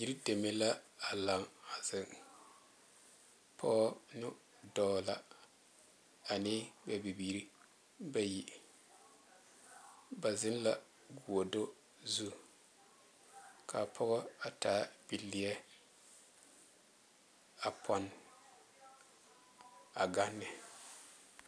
Yiri deme la a laŋ a zeŋ pɔge ne dɔɔ la ane ba bibiiri bayi ba zeŋla goɔdo zu kaa pɔga a taa bileɛ a pone a gaŋ ne